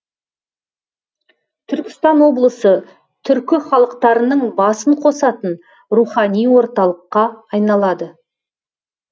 түркістан облысы түркі халықтарының басын қосатын рухани орталыққа айналады